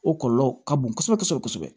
O kɔlɔlɔ ka bon kosɛbɛ kosɛbɛ